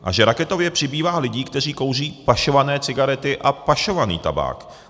A že raketově přibývá lidí, kteří kouří pašované cigarety a pašovaný tabák.